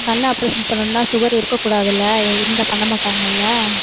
கண் operation பண்ணணும்ன்னா sugar இருக்கக்கூடாதுல இருந்தா பண்ண மாட்டாங்கல்ல